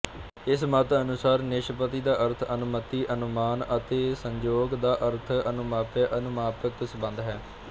ਇਸ ਮਤ ਅਨੁਸਾਰ ਨਿਸ਼ਪੱਤੀ ਦਾ ਅਰਥ ਅਨਮਤੀ ਅਨਮਾਨ ਅਤੇ ਸੰਯੋਗ ਦਾ ਅਰਥ ਅਨੁਮਾਪਯਅਨੁਮਾਪਕ ਸੰਬਧ ਹੈ